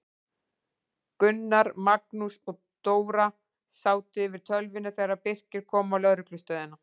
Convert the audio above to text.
Gunnar, Magnús og Dóra sátu yfir tölvunni þegar Birkir kom á lögreglustöðina.